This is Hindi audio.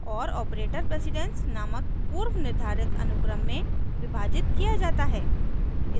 और ऑपरेटर प्रेसिडेन्स नामक पूर्व निर्धारित अनुक्रम में विभाजित किया जाता है